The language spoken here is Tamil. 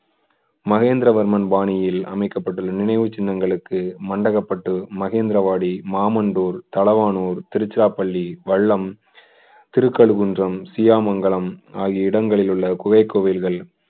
மகேந்திரவர்மன் பாணியில் அமைக்கப்பட்டுள்ள நினைவுச் சின்னங்களுக்கு மண்டகப்பட்டு, மகேந்திரவாடி, மாமண்டூர், தளவானூர், திருச்சிராப்பள்ளி, வல்லம், திருக்கழுங்குன்றம், சியா மங்கலம் ஆகிய இடங்களில் உள்ள குகை கோயில்கள்